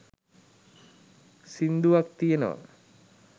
සින්දුවක් තියෙනවා